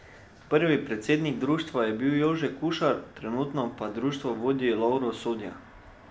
Prvi predsednik društva je bil Jože Kušar, trenutno pa društvo vodi Lovro Sodja.